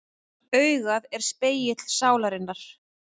Augað er spegill sálarinnar.